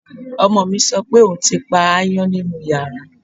Ọmọ mi sọ pé òun ti pa aáyán nínú yàrá